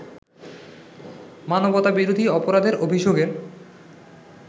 মানবতাবিরোধী অপরাধের অভিযোগের